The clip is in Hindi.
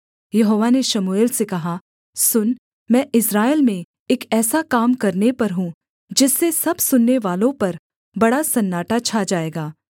यहोवा ने शमूएल से कहा सुन मैं इस्राएल में एक ऐसा काम करने पर हूँ जिससे सब सुननेवालों पर बड़ा सन्नाटा छा जाएगा